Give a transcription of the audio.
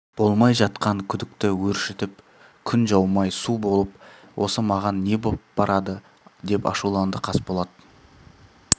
болмай жатқан күдікті өршітіп күн жаумай су болып осы маған не боп барады деп ашуланды қасболат